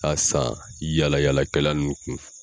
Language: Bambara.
A san yala yala kɛla ninnu kun.